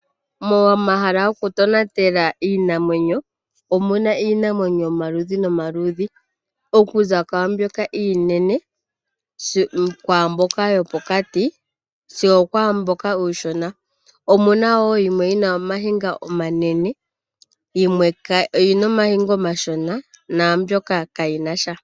Momahala gokutonatela iinamamwenyo, omuna iinamwenyo yomaludhi nomaludhi okuza kwaambyoka iinene, kwaambyoka yopokati sigo okwaamboka uushona. Omuna wo mboka yina omayinga omanene, yimwe oyina omayinga omashona naambyoka kayinasha.